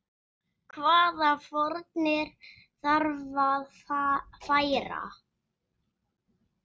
Hvaða fórnir þarf að færa?